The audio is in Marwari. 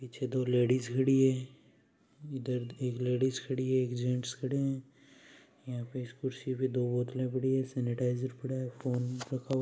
पीछे दो लेडिज खड़ी है इधर एक लेडीज खड़ी है एक जेंट्स खड़े है यहाँ पे इस कुर्सी पे दो बोतल पड़ी है सेनीटाइज़र पड़ा है फोन रखा हुआ--